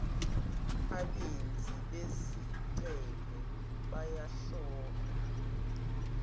abenzi bezicelo bayohlolwa